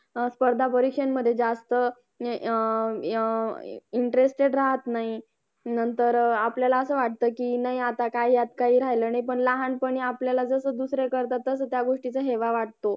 अं स्पर्धा परीक्षांमध्ये जास्त अं interested राहत नाही नंतर अं आपल्याला असं वाटतं की नाही आता काय यात काही राहिला नाही पण लहानपणी आपल्याला जसं दुसरे करतात तसंच त्या गोष्टीचा हेवा वाटतो